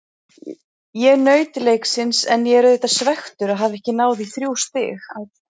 Ég naut leiksins en ég er auðvitað svekktur að hafa ekki náð í þrjú stig.